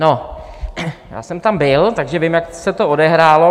No, já jsem tam byl, takže vím, jak se to odehrálo.